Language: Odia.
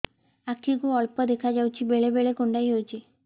ଆଖି କୁ ଅଳ୍ପ ଦେଖା ଯାଉଛି ବେଳେ ବେଳେ କୁଣ୍ଡାଇ ହଉଛି